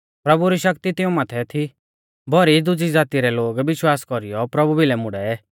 प्रभु री शक्ति तिऊं माथै थी भौरी दुजी ज़ाती रै लोग विश्वास कौरीयौ प्रभु भिलै मुड़ै